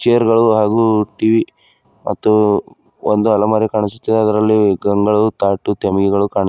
chair ಗಳು ಹಾಗು TV ಮತ್ತು ಒಂದು ಅಲೆಮಾರಿ ಕಾಣಿಸುತ್ತಿದೆ ಅದರಲ್ಲಿ ಗಂಗಾಳವು ತಾಟು ತೆಮಿಗೆಗಳು ಕಾಣಿ --